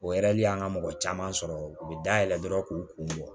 O y'an ka mɔgɔ caman sɔrɔ u be dayɛlɛn dɔrɔn k'u kun bɔ